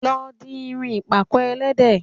Lọ di irun ìpàkọ́ ẹlẹ́de